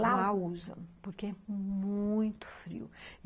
Lá usam, porque é muito frio.